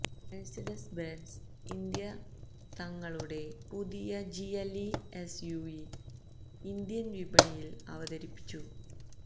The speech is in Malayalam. മെർസിഡീസ് ബെൻസ് ഇന്ത്യ തങ്ങളുടെ പുതിയ G L E SUV Indian വിപണിയിൽ അവതരിപ്പിച്ചു